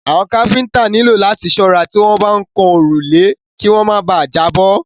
Àwọn káfíńńtà nílò láti ṣọ́ra tí wọ́n bá ń kan òrùlé kí wọ́n má bà à jábọ́.